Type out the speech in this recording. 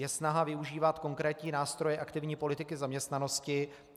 Je snaha využívat konkrétní nástroje aktivní politiky zaměstnanosti.